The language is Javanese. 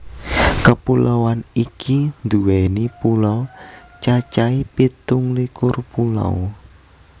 Kepuloan iki duwéni pulo cacahé pitu likur pulo